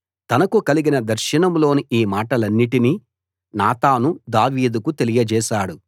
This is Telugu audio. తనకు కలిగిన దర్శనంలోని ఈ మాటలన్నిటినీ నాతాను దావీదుకు తెలియజేశాడు